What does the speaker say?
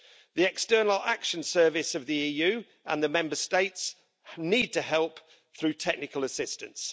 The External Action Service of the EU and the Member States need to help through technical assistance.